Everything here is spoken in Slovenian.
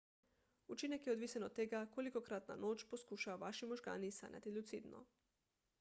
učinek je odvisen od tega kolikokrat na noč poskušajo vaši možgani sanjati lucidno